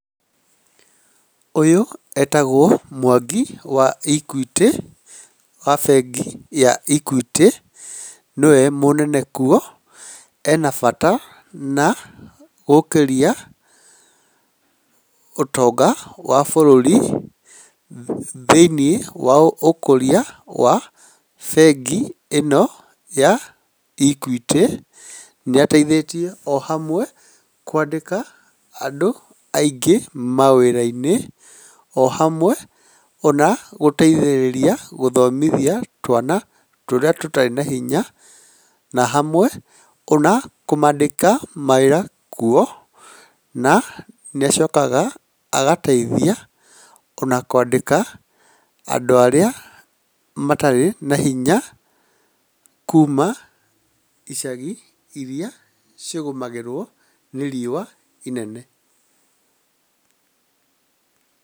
Ũyũ etagwo Mwangi wa Equity, wa bengi ya Equity. Nĩwe mũnene kuo, ena bata na gũkĩria ũtonga wa bũrũri thĩiniĩ wa ũkũria wa bengi ĩno ya Equity, nĩateithĩtie amwe, kwandĩka andũ aingĩ mawĩra-inĩ o hamwe ona gũteithĩrĩria gũthomithia twana tũrĩa tũtarĩ na hinya na hamwe ona kũmandĩka mawĩra kuo, na nĩacokaga agateithia ona kwandĩka andũ arĩa matarĩ na hinya kuuma icagi irĩa cigũmagĩrwo nĩ riũa inene.